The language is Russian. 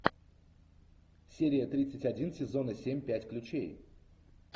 серия тридцать один сезона семь пять ключей